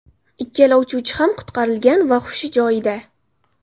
Ikkala uchuvchi ham qutqarilgan va hushi joyida.